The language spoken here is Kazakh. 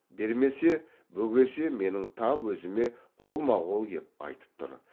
бермесе бөгесе менің тап өзіме қолма қол кеп айтып тұр